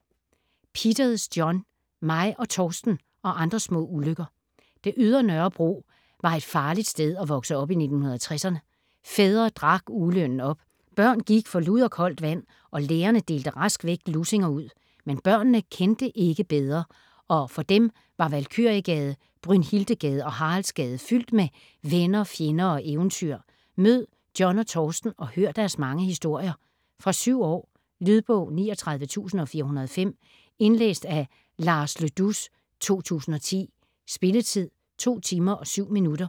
Peters, John: Mig og Torsten - og andre små ulykker Det ydre Nørrebro var et farligt sted at vokse op i 1960'erne. Fædre drak ugelønnen op, børn gik for lud og koldt vand, og lærerne delte rask væk lussinger ud. Men børnene kendte ikke bedre, og for dem var Valkyriegade, Brynhildegade og Haraldsgade fyldt med venner, fjender og eventyr. Mød John og Torsten og hør deres mange historier. Fra 7 år. Lydbog 39405 Indlæst af Lars Le Dous, 2010. Spilletid: 2 timer, 7 minutter.